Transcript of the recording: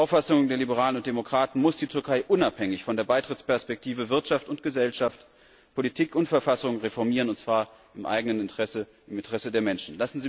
Nach Auffassung der Liberalen und Demokraten muss die Türkei unabhängig von der Beitrittsperspektive Wirtschaft und Gesellschaft, Politik und Verfassung reformieren, und zwar im eigenen Interesse, im Interesse der Menschen.